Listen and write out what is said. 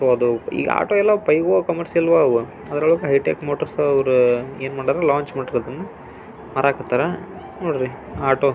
So auto ಎಲ್ಲ commercial ಆಗವೆ. ಅದ್ರೊಳಗೆ ಹೈ ಟೆಕ್ ಮೋಟರ್ಸ್ ಏನ್ ಮಾಡರ ಅಂದ್ರೆ ಲಾಂಚ್ ಮಾಡರೇ ಮಾರ ಕಾತರ ನೋಡ್ರಿ ಆಟೋ --